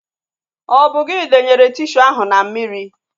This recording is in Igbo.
Ọ bụ gị denyere tishu ahu na mmiri?